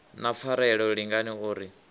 na pfarelo lingani o ri